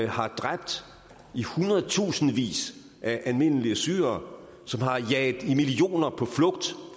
har dræbt i hundredtusindvis af almindelige syrere som har jaget i millioner på flugt